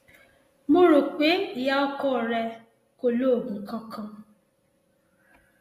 mo rò pé ìyá ọkọ rẹ kò lo oògùn kankan